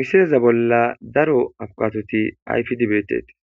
Misileza bolla daro abkatoti ayfidibetetis